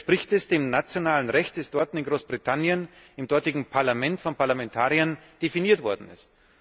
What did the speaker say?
Dann widerspricht das dem nationalen Recht, das dort, in Großbritannien, im dortigen Parlament von Parlamentariern definiert worden ist.